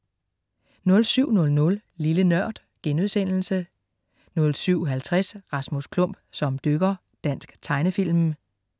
07.00 Lille Nørd* 07.50 Rasmus Klump som dykker. Dansk tegnefilm